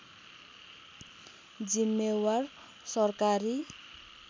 जिम्मेवार सरकारी